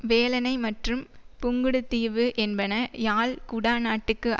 வேலணை மற்றும் புங்குடுதீவு என்பன யாழ் குடாநாட்டுக்கு